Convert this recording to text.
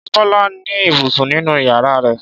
Ṣé Bọ́lá ní ibùsùn nínú ìyàrá rẹ̀?